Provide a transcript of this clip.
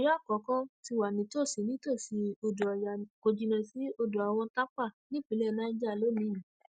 ọyọ àkọkọ ti wà nítòsí nítòsí odò ọyá kò jìnnà sí odò àwọn tápà nípínlẹ niger lónìín yìí